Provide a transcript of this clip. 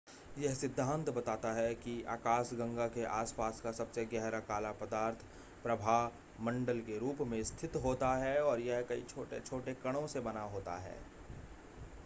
यह सिद्धांत बताता है कि आकाशगंगा के आसपास का सबसे गहरा काला पदार्थ प्रभामंडल के रूप में स्थित होता है और यह कई छोटे-छोटे कणों से बना होता है